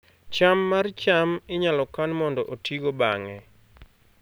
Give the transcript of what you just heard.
cham mar cham inyalo kan mondo otigo bang'e